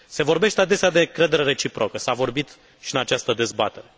Se vorbește adesea de încredere reciprocă, s a vorbit și în această dezbatere.